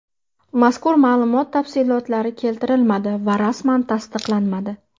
Mazkur ma’lumot tafsilotlari keltirilmadi va rasman tasdiqlanmadi.